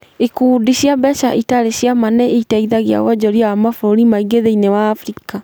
Ikundi cia mbeca itarĩ cia ma nĩ ĩteithagia wonjoria wa mabũrũri maingĩ thĩinĩ wa Afrika.